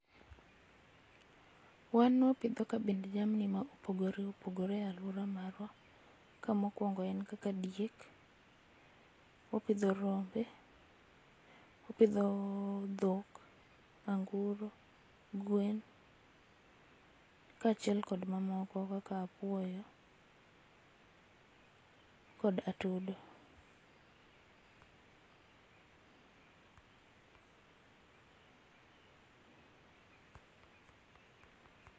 Wan wapidho kabind jamni ma opogore opogore e aluora marwa ka mokuongo en kaka diek, wapidho rombe, wapidho dhok, anguro ,gwen kachiel kod mamoko kaka apuoyo kod atudo.